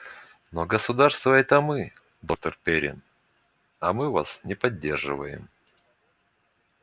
но государство это мы доктор пиренн а мы вас не поддерживаем